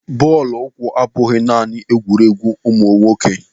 Bọọlụ ụkwụ abụghị naanị egwuruegwu ụmụ nwoke.